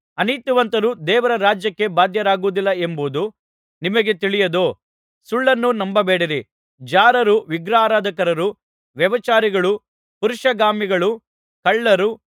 ಅನೀತಿವಂತರು ದೇವರ ರಾಜ್ಯಕ್ಕೆ ಬಾಧ್ಯರಾಗುವುದಿಲ್ಲವೆಂಬುದು ನಿಮಗೆ ತಿಳಿಯದೋ ಸುಳ್ಳನ್ನು ನಂಬಬೇಡಿರಿ ಜಾರರು ವಿಗ್ರಹಾರಾಧಕರು ವ್ಯಭಿಚಾರಿಗಳು ಪುರುಷಗಾಮಿಗಳು ಕಳ್ಳರು